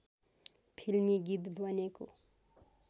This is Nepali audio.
फिल्मी गीत बनेको